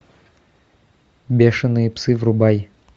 бешеные псы врубай